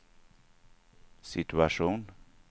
situation